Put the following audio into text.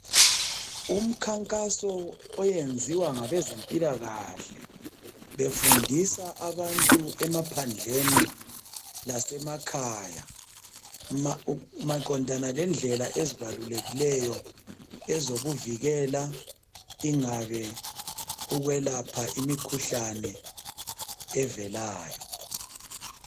Umkhankaso oyenziwa ngabezempilakahle befundisa abantu emaphandleni lasemakhaya maqondana lendlela ezibalulekileyo ezokuzivikela ingabe ukwelapha imikhuhlane evelayo